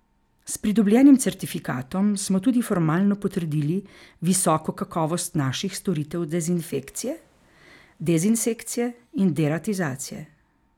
S pridobljenim certifikatom smo tudi formalno potrdili visoko kakovost naših storitev dezinfekcije, dezinsekcije in deratizacije.